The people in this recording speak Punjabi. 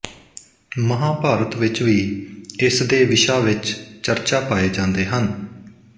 ਮਹਾਂਭਾਰਤ ਵਿੱਚ ਵੀ ਇਸਦੇ ਵਿਸ਼ਾ ਵਿੱਚ ਚਰਚਾ ਪਾਏ ਜਾਂਦੇ ਹਨ